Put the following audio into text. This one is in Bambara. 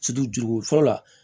juruko fɔlɔ la